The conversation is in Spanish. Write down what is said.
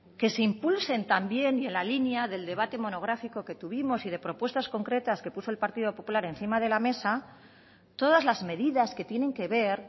que se impulsen también y en la línea del debate monográfico que tuvimos y de propuestas concretas que puso el partido popular encima de la mesa todas las medidas que tienen que ver